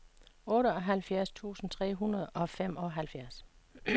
otteoghalvfjerds tusind tre hundrede og femoghalvfjerds